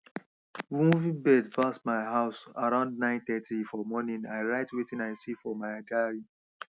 moving birds pass my house around nine thirty for morning i write wetin i see for my diary